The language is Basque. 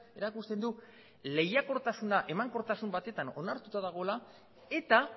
erakusten du lehiakortasuna emankortasun batean onartuta dagoela eta